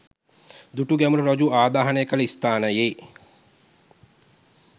දුටුගැමුණු රජු ආදාහනය කළ ස්ථානයේ